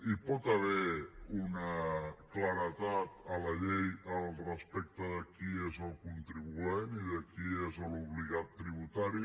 hi pot haver una claredat a la llei respecte de qui és el contribuent i de qui és l’obligat tributari